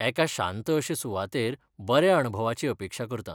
एका शांत अशे सुवातेर बऱ्या अणभवाची अपेक्षा करतां.